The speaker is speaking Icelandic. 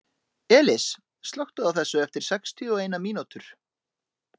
Elis, slökktu á þessu eftir sextíu og eina mínútur.